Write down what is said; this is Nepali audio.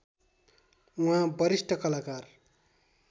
उहाँ वरिष्ठ कलाकार